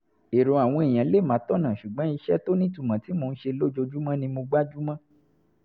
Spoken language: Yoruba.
èrò àwọn èèyàn lè má tọ̀nà ṣùgbọ́n iṣẹ́ tó nítumọ̀ tí mò ń ṣe lójoojúmọ́ ni mo gbájú mọ́